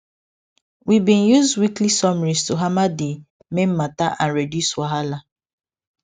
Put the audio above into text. we bin use weekly summaries to hammer d main mata and reduce wahala